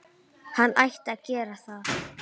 Hann ætti að gera það.